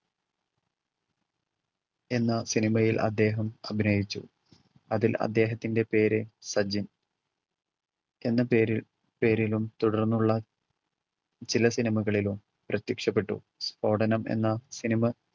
എന്ന സിനിമയിൽ അദ്ദേഹം അഭിനയിച്ചു. അതിൽ അദ്ദേഹത്തിൻറെ പേര് സജിൻ എന്ന പേര് പേരിലും തുടർന്നുള്ള സിനിമകളിലും പ്രത്യക്ഷപ്പെട്ടു. സ്ഫോടനം എന്ന സിനിമ